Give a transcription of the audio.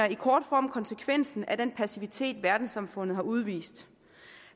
i kort form konsekvensen af den passivitet verdenssamfundet har udvist